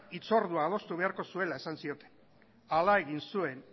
hitzordua adostu beharko zuela esan zioten hala egin zuen